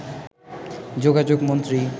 যোগাযোগ মন্ত্রী